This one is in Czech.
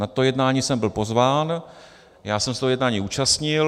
Na to jednání jsem byl pozván, já jsem se toho jednání účastnil.